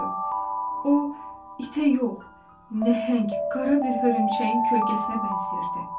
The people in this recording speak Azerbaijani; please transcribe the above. O, itə yox, nəhəng, qara bir hörümçəyin kölgəsinə bənzəyirdi.